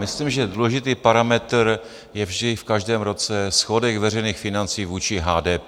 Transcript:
Myslím, že důležitý parametr je vždy v každém roce schodek veřejných financí vůči HDP.